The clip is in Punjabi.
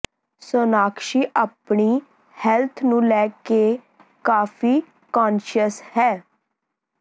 ਸੋਨਾਕਸ਼ੀ ਆਪਣੀ ਹੈਲਥ ਨੂੰ ਲੈ ਕੇ ਕਾਫੀ ਕਾਨਸ਼ੀਅਸ ਹੈ